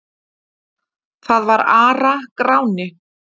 Það var Ara-Gráni.